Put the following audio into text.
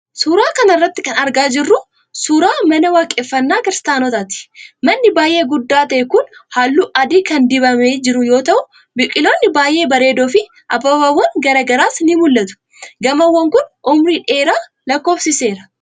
Suura kana irratti kan argaa jirru kun, suura mana waaqeffannaa kiristaanotaati. Manni baay'ee guddaa ta'e kun haalluu adii kan dibamee jiru yoo ta'u, biqiloonni baay'ee bareedoo fi abaaboowwan garaa garaas ni mul'atu. Gamoon kun, umurii dheeraa lakkoofsiseera.